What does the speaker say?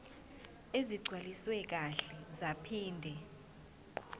ezigcwaliswe kahle zaphinde